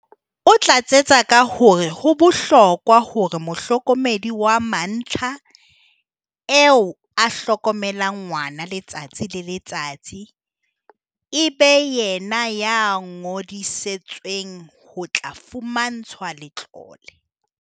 O tlatsetsa ka hore ho bohlokwa hore mohlokomedi wa mantlha, eo a hlokomelang ngwana letsatsi le le tsatsi, e be yena ya ngodisetsweng ho tla fumantshwa letlole.